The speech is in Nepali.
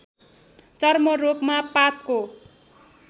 चर्मरोगमा पातको